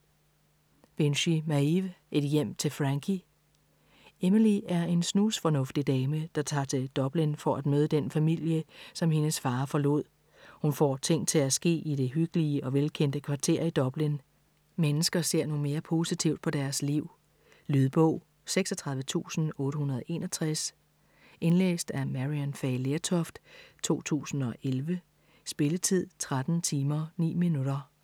Binchy, Maeve: Et hjem til Frankie Emily er en snusfornuftig dame, der tager til Dublin for at møde den familie, som hendes far forlod. Hun får ting til at ske i det hyggelige og velkendte kvarter i Dublin. Mennesker ser nu mere positivt på deres liv. Lydbog 36861 Indlæst af Maryann Fay Lertoft, 2011. Spilletid: 13 timer, 9 minutter.